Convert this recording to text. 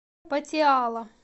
патиала